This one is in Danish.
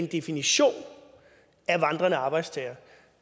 definitionen af en vandrende arbejdstager